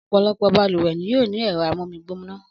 Ọ̀pọ̀lọpọ̀ balùwẹ̀ ni yóò ní ẹ̀rọ amómigbóná